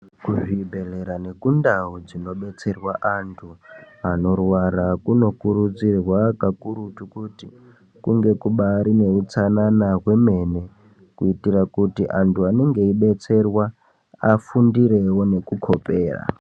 Kuzvi bhehlera nekundau dzino betserwa andu anorwara kuno kurudzirwa kakurutu kuti kunge kubaarine hutsanana hwemene kuitira kuti antu anenge eibetserwa afundirewo nekukopera.